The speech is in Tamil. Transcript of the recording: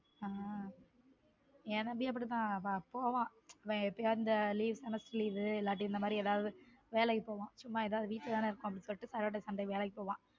ஹம் என் தம்பியும் அப்படிதான் போவான் எப்பயாவது இந் leave semester leave இல்லாட்டி இந்த மாதிரி வேலைக்கு போவான் சும்மா வீட்ல தான் இருக்கோம் saturday sunday வேலைக்கு போவான்